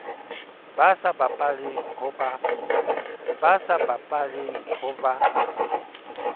ba sa bapaleng ho ba